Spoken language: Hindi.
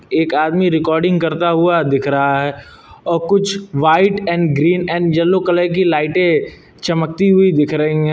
एक आदमी रिकॉर्डिंग करता हुआ दिख रहा है और कुछ white and green and yellow colour की लाइटें चमकती हुई दिख रही हैं।